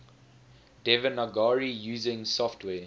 devanagari using software